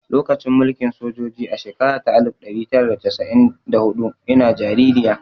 Lokacin mulkin sojoji a shekara ta alif ɗari tara da casa'in da huɗu ina jaririya